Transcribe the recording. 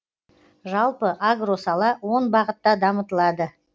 жалпы агро сала он бағытта дамытылады